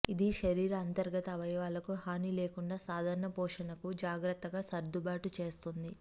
ఇది శరీర అంతర్గత అవయవాలకు హాని లేకుండా సాధారణ పోషణకు జాగ్రత్తగా సర్దుబాటు చేస్తుంది